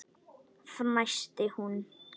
fnæsti hún.